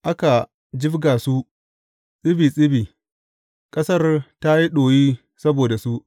Aka jibga su tsibi tsibi, ƙasar ta yi ɗoyi saboda su.